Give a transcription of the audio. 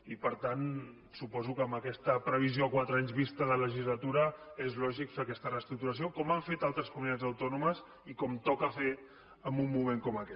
i per tant suposo que amb aquesta previsió a quatre anys vista de legislatura és lògic fer aquesta reestructuració com han fet altres comunitats autònomes i com toca fer en un moment com aquest